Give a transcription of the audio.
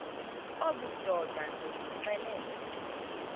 obudoda ndonixelela ke